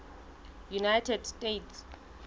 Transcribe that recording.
united states